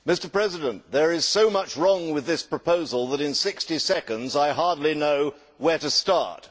Mr President, there is so much wrong with this proposal that in sixty seconds I hardly know where to start.